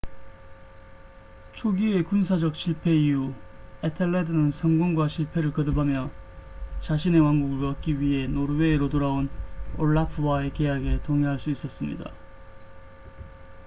초기의 군사적 실패 이후 에텔레드는 성공과 실패를 거듭하며 자신의 왕국을 얻기 위해 노르웨이로 돌아온 올라프와의 계약에 동의할 수 있었습니다